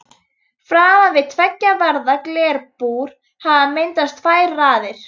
Veður allgott allhvass suðaustan lítil úrkoma og fremur milt.